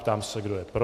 Ptám se, kdo je pro.